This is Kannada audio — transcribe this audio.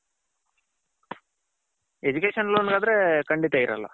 education loan ಗ ಆದ್ರೆ ಖಂಡಿತ ಇರಲ್ಲ.